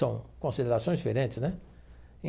São considerações diferentes, né?